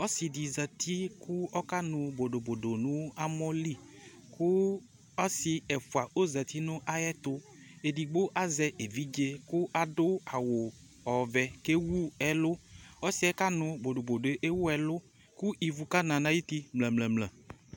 Ɔsɩ zati kʋ ɔkanʋ bodobodo nʋ amɔ li kʋ ɔsɩ ɛfʋa ɔzati nʋ ayɛtʋ Edigbo azɛ evidze kʋ adʋ awu ɔvɛ kʋ ewu ɛlʋ Ɔsɩ yɛ kanʋ bodobodo yɛ ewu ɛlʋ kʋ ivu kana nʋ ayuti mlǝ̵̵̵-mlǝ